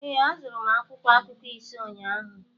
Ee, azụrụ m akwụkwọ akụkọ ise ụnyaahụ